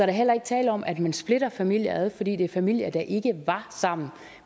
er heller ikke tale om at man splitter familier ad fordi det er familier der ikke var sammen